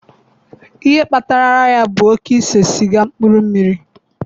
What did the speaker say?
Ihe kpatara ara ya bụ oke ise siga mmkpuru mmiri.